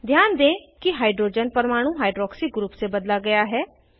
ध्यान दें कि हाइड्रोजन परमाणु हाइड्रॉक्सी ग्रुप से बदला गया है